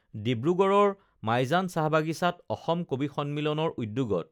ডিব্ৰুগড়ৰ মাইজান চাহবাগিচাত অসম কবি সন্মিলনৰ উদ্যোগত